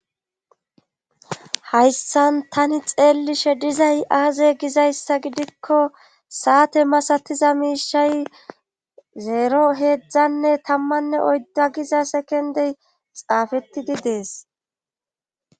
Hayssan tani xeellishe dizay aaze gizayssa gidikko saate masatiza miishay zeero heedzdzanne tammanne oydda giza sekendey xaafetidi dees.